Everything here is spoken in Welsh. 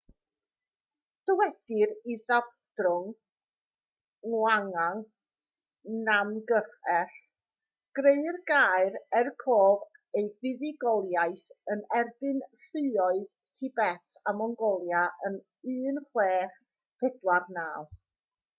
dywedir i zhabdrung ngawang namgyel greu'r gaer er cof am ei fuddugoliaeth yn erbyn lluoedd tibet a mongolia yn 1649